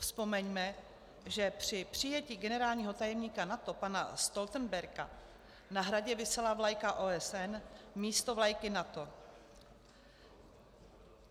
Vzpomeňme, že při přijetí generálního tajemníka NATO pana Stoltenberga na Hradě visela vlajka OSN místo vlajky NATO.